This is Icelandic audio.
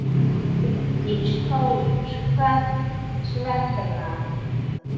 Bryndís Hólm: Hvers vegna?